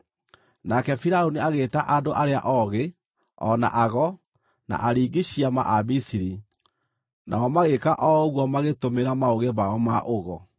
Nake Firaũni agĩĩta andũ arĩa oogĩ o na ago, na aringi ciama a Misiri, nao magĩĩka o ũguo magĩtũmĩra maũgĩ mao ma ũgo.